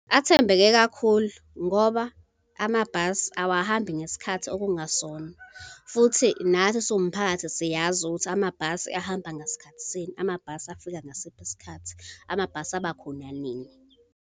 Athembeke kakhulu ngoba amabhasi awahambi ngesikhathi okungasona. Futhi nathi siwumphakathi, siyazi ukuthi amabhasi ahamba ngasikhathi sini, amabhasi afika ngasiphi isikhathi, amabhasi abakhona nini.